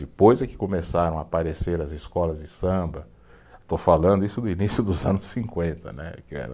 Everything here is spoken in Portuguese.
Depois é que começaram a aparecer as escolas de samba, estou falando isso do início dos anos cinquenta né, que era